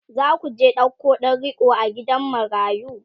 zaku je ɗauko ɗan riƙo a gidan marayu?